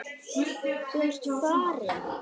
Þú ert farin.